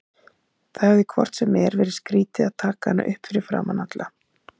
Það hefði hvort sem er verið skrýtið að taka hana upp fyrir framan alla.